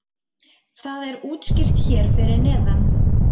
það er útskýrt hér fyrir neðan